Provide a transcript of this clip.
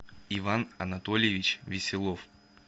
иван анатольевич веселов